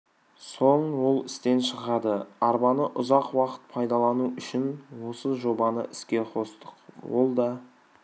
соң ол істен шығады арбаны ұзақ уақыт пайдалану үшін осы жобаны іске қостық ол да